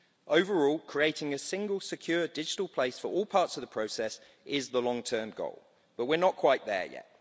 Overall, creating a single secure digital place for all parts of the process is the long-term goal, but we're not quite there yet.